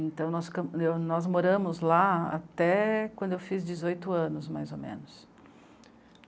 Então, nós nós moramos lá até quando eu fiz dezoito anos, mais ou menos.